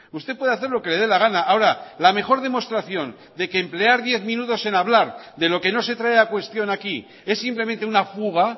usted puede hacer lo que le de la gana ahora la mejor demostración de que emplear diez minutos en hablar de lo que no se trae a cuestión aquí es simplemente una fuga